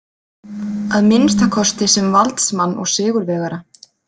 Að minnsta kosti sem valdsmann og sigurvegara.